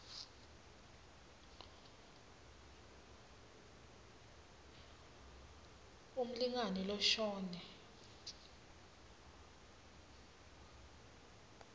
s umlingani loshone